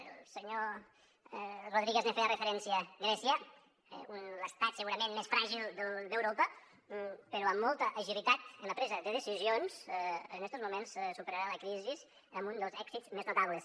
el senyor rodríguez hi feia referència grècia l’estat segurament més fràgil d’europa però amb molta agilitat en la presa de decisions en estos moments superarà la crisi amb un dels èxits més notables